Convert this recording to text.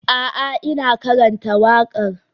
A'a, ina karanta waƙar.